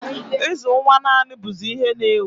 Ịzụ nwa naanị bụzị ihe n'ewu